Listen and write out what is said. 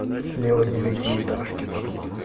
слева девятиэтажки там